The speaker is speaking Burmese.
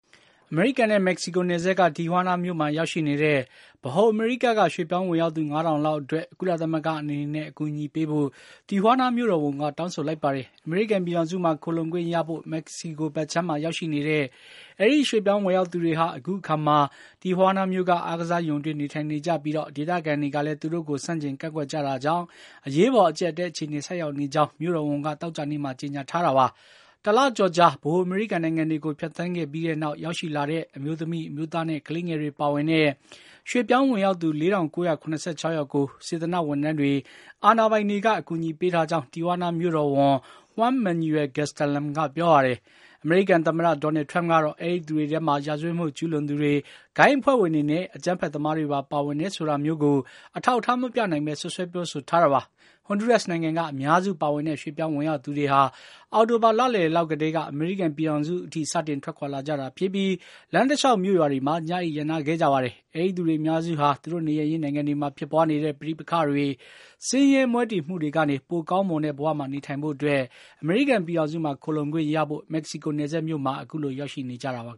အမေရိကန်နဲ့ မက္ကဆီကိုနယ်စပ်က တီဟွားနားမြို့မှာရောက်ရှိနေတဲ့ ဗဟိုအမေရိကက ရွှေ့ပြောင်း ဝင်ရောက်သူ ၅,၀၀၀ လောက်အတွက် ကုလသမဂ္ဂအနေနဲ့ အကူအညီပေးဖို့ တီဟွားနားမြို့တော် ဝန်က တောင်းဆိုလိုက် ပါတယ်။ အမေရိကန်ပြည်ထောင်စုမှာ ခိုလှုံခွင့်ရဖို့ မက္ကဆီကိုဘက်ခြမ်းမှာ ရောက်ရှိနေကြတဲ့ အဲဒီရွှေ့ပြောင်း ဝင်ရောက် သူတွေဟာ အခုအခါမှာ အားကစားရုံအတွင်း နေထိုင်နေကြပြီး ဒေသခံတွေကလည်း သူတို့ကို ဆန့်ကျင် ကန့်ကွက်ကြတာကြောင့် အရေးပေါ် အကြပ်အတည်း အခြေအနေဆိုက်ရောက်နေ ကြောင်းလည်း မြို့တော်ဝန်က သောကြာနေ့မှာ ကြေညာထားတာပါ။ တလကျော်ကြာ ဗဟိုအမေရိကန်နိုင်ငံတွေကို ဖြတ်သန်းခဲ့ပြီးနောက် ရောက်ရှိလာတဲ့ အမျိုးသမီး၊ အမျိုးသားနဲ့ ကလေးငယ်တွေပါဝင်တဲ့ အဲဒီရွှေ့ပြောင်းဝင်ရောက်သူ ၄,၉၇၆ ယောက်ကို စေတနာ့ ဝန်ထမ်းတွေ၊ အာဏာ ပိုင်တွေက အကူအညီပေးထားကြောင်း တီဟွားနား မြို့တော်ဝန်က Juan Mauel Gastelum က ပြောပါတယ်။ အမေရိကန်သမ္မတ Donald Trump ကတော့ အဲဒီသူတွေထဲမှာ ရာဇဝတ်မှုကျူးလွန်သူတွေ၊ ဂိုဏ်းအဖွဲ့ဝင် တွေနဲ့ အကြမ်းဖက်သမားတွေပါ ပါဝင်တယ်ဆိုတာမျိုးကို အထောက်အထားမပြနိုင်ဘဲ စွပ်စွဲ ပြောဆိုထား တာပါ။ ဟွန်ဒူးရပ်စ်နိုင်ငံက အများစုပါဝင်တဲ့ ရွှေ့ပြောင်း ဝင်ရောက်သူတွေဟာ အောက်တိုဘာလလယ် ကတည်းက အမေရိကန်ပြည်ထောင်စုဆီ စတင်ထွက်ခွါလာကြတာဖြစ်ပြီး လမ်းတလျှောက် မြို့ရွာတွေမှာ ညအိပ် ရပ်နားခဲ့ ကြပါတယ်။ အဲဒီသူတွေအများစုဟာ သူတို့နေရပ်ရင်းနိုင်ငံတွေမှာ ဖြစ်ပွါးနေတဲ့ ပဋိပက္ခတွေ၊ ဆင်းရဲမွဲတေ မှုကနေ ပိုကောင်းမွန်တဲ့ဘဝမှာ နေထိုင်နိုင်ဖို့အတွက် အမေရိကန်ပြည်ထောင်စုမှာ ခိုလှုံခွင့်ရဖို့အတွက် မက္ကဆီကိုနယ်စပ်မြို့မှာ အခုလို ရောက်ရှိနေကြတာ ဖြစ်ပါ